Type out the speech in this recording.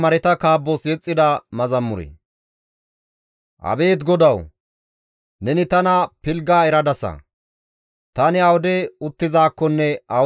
Tani awude uttizaakkonne awude eqqizakko neni eraasa; neni ta qofa ubbaa haakoppe akeekaasa.